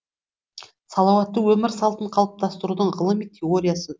салауатты өмір салтын қалыптастырудың ғылыми теориясы